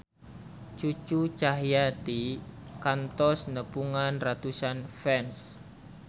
Cucu Cahyati kantos nepungan ratusan fans